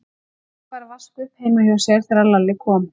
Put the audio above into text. Jói var að vaska upp heima hjá sér þegar Lalli kom.